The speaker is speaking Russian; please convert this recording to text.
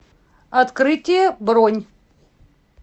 открытие бронь